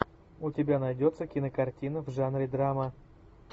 у тебя найдется кинокартина в жанре драма